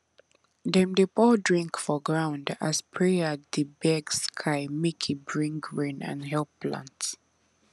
dem dey pour drink for ground as prayer dey beg sky make e bring rain and help plants